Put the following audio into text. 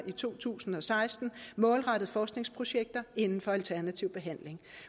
i to tusind og seksten målrettet forskningsprojekter inden for alternativ behandling